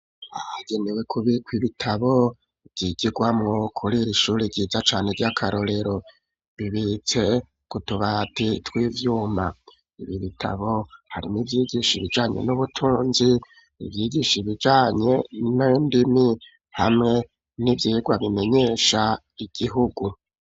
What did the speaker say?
Ahagenewe kubikwa ibitabo vy'igigwamwo kurir'ishuri ryiza cane ryakarorero, bibitse kutubati tw'ivyuma, ibi bitabo harimwo ivyigisha ibijanye n'ubutunzi ,ivyigisha ibijanye n'indimi, hamwe n'ivyigwa bimenyesha igihugu.